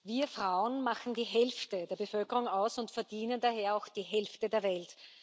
Wir Frauen machen die Hälfte der Bevölkerung aus und verdienen daher auch die Hälfte der Welt.